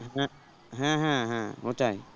হ্যাঁ হ্যাঁ হ্যাঁ ওটাই